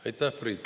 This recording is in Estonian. Aitäh, Priit!